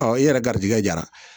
i yɛrɛ garijɛgɛ jara